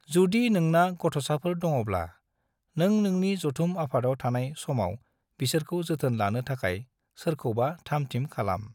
जुदि नोंना गथ'साफोर दङ'ब्ला, नों नोंनि जथुम आफादाव थानाय समाव बिसोरखौ जोथोन लानो थाखाय सोरखौबा थाम थिम खालाम।